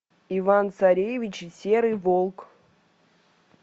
иван царевич и серый волк